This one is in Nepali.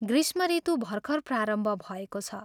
ग्रीष्मऋतु भर्खर प्रारम्भ भएको छ।